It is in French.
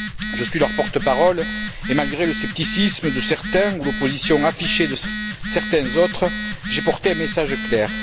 Je suis leur porte parole et malgré le scepticisme de certains ou l'opposition affichée de certains autres, j'ai porté un message clair.